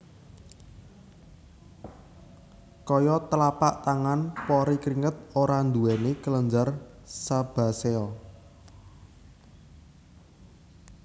Kaya tlapak tangan pori kringet ora nduwèni kelenjar sebasea